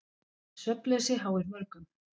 Svefnleysi háir mörgum.